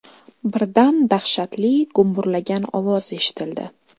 Birdan dahshatli gumburlagan ovoz eshitildi.